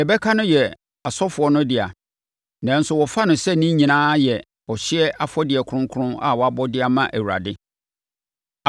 Deɛ ɛbɛka no yɛ asɔfoɔ no dea, nanso wɔfa no sɛ ne nyinaa yɛ ɔhyeɛ afɔdeɛ kronkron a wɔabɔ de ama Awurade.